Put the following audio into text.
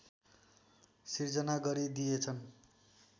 सिर्जना गरिदिएछन्